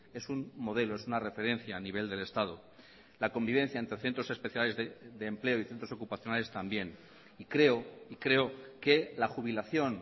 es un modelo es una referencia a nivel del estado la convivencia entre centros especiales de empleo y centros ocupacionales también y creo y creo que la jubilación